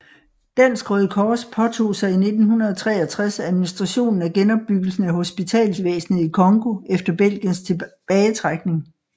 Dansk Røde Kors påtog sig i 1963 administrationen af genopbyggelsen af hospitalsvæsnet i Congo efter Belgiens tilbagetrækning